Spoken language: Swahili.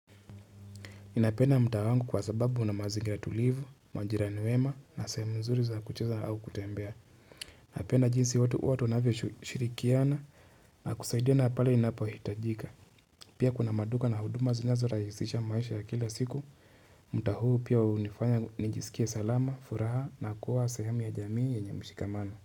Ninapenda mtaa wangu kwa sababu kuna mazingira tulivu, majirani wema na sehemu nzuri za kucheza au kutembea. Napenda jinsi watu wanavyo shirikiana na kusaidia na pale inapo hitajika. Pia kuna maduka na huduma zinazo rahisisha maisha ya kila siku. Mtaa huu pia hunifanya nijisikia salama, furaha na kuwa sehemu ya jamii ya yenye mshikamano.